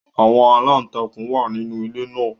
Àwọn aláǹtakùn wà nínú ilé náà